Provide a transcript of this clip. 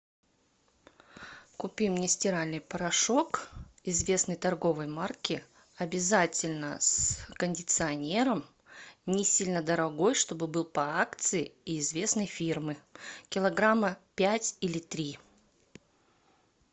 купи мне стиральный порошок известной торговой марки обязательно с кондиционером не сильно дорогой чтобы был по акции и известной фирмы килограмма пять или три